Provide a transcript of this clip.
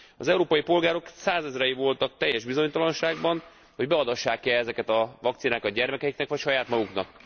Az európai polgárok százezrei voltak teljes bizonytalanságban, hogy beadassák e ezeket a vakcinákat gyermekeiknek vagy saját maguknak.